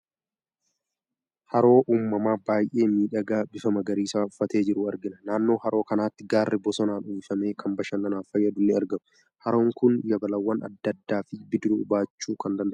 Haroo uumamaa baay'ee miidhagaa, bifa magariisaa uffatee jiru argina. Naannoo haroo kanaatti gaarri bosonaan uwwifame kan bashannanaaf fayyadu ni argamu. Haroon kun yabalawwan adda addaa fi bidiruu baachuu kan danda'u dha.